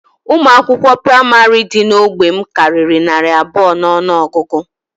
Ụmụ akwụkwọ praịmarị dị n'ógbè m karịrị narị abụọ n'ọnụọgụgụ